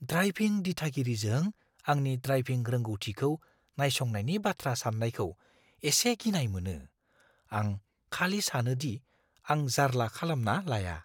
Driving दिथागिरिजों आंनि driving रोंगौथिखौ नायसंनायनि बाथ्रा साननायखौ एसे गिनाय मोनो। आं खालि सानो दि आं जारला खालामना लाया।